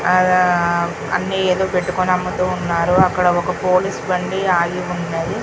అన్ని ఎదో పెట్టుకొని అమ్ముతున్నారు అక్కడ ఒక్క పోలీస్ బండి ఆగియున్నది.